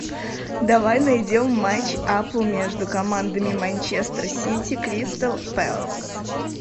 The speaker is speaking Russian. давай найдем матч апл между командами манчестер сити кристал пэлас